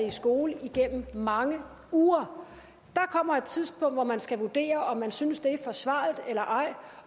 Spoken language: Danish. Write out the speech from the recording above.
i skole igennem mange uger der kommer et tidspunkt hvor man skal vurdere om man synes det er forsvarligt eller ej